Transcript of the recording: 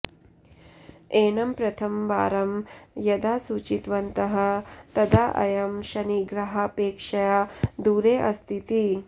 एनं प्रथमवारं यदा सूचितवन्तः तदा अयं शनिग्रहापेक्षया दूरे अस्तीति